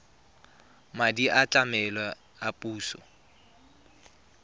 madi a tlamelo a puso